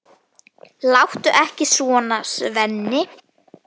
Láttu ekki svona, Svenni.